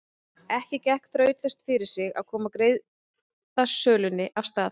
Ekki gekk þrautalaust fyrir sig að koma greiðasölunni af stað.